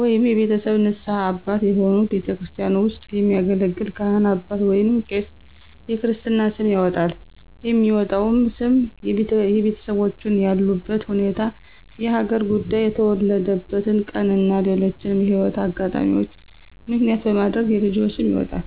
ወይንም የቤተሰብ ንስሀ አባት የሆኑ ቤተክርስቲያን ውስጥ የሚያገለግል ካህን አባት ወይንም ቄስ የክርስትና ስም ያወጣል። የሚወጣውም ስም የቤተሰቦቹን ያሉበት ሁኔታ፣ የሀገር ጉዳይ፣ የተወለደበትን ቀን እና ሌሎችንም የህይወት አጋጣሚዎች ምክንያት በማድረግ የልጅ ስም ይወጣል።